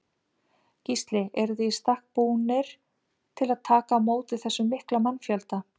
Gísli: Eruð þið í stakk búnir til að taka á móti þessum mikla mannfjölda?